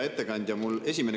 Hea ettekandja!